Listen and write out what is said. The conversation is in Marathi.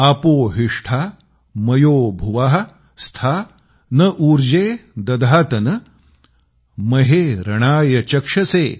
आपो हिष्ठा मयो भुवः स्था न ऊर्जे दधातन महे रणाय चक्षसे